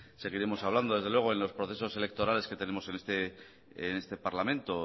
seguiremos hablando desde luego en los procesos electorales que tenemos en este parlamento